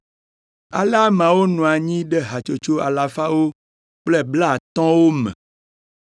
Ale ameawo nɔ anyi ɖe hatsotso alafawo kple blaatɔ̃wo me.